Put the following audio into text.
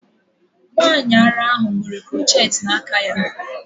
Nwanyị ara ahụ nwere crochet n'aka m.